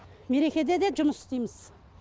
мерекеде де жұмыс істейміз